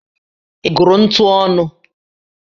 Ị gụrụ ntu ọnụ?